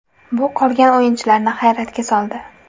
Bu qolgan o‘yinchilarni hayratga soldi.